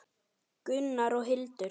Gunnar og Hildur.